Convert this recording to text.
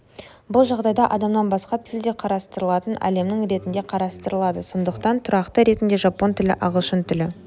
бұл жағдайда адамнан басқа тіл де қарастырылатын әлемнің ретінде қарастырылады сондықтан тұрақты ретінде жапон тілі ағылшын тілі